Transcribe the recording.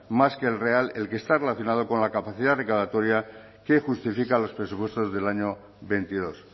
más que el real el que está relacionado con la capacidad recaudatoria que justifica los presupuestos del año veintidós